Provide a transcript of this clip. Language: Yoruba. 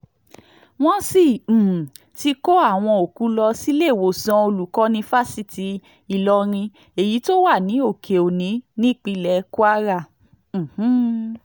wọ́n sì um ti kó àwọn òkú lọ síléèwòsàn olùkọ́ni fásitì ìlọrin èyí tó wà ní òkè-òyí nípínlẹ̀ kwara um